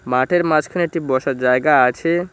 মাঠের মাঝখানে একটি বসার জায়গা আছে।